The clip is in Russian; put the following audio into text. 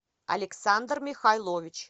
александр михайлович